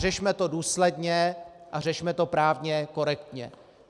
Řešme to důsledně a řešme to právně korektně.